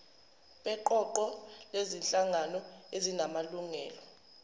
beqoqo lezinhlangano ezinamalungelo